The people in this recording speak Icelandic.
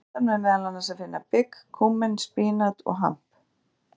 Á listanum er meðal annars að finna bygg, kúmen, spínat og hamp.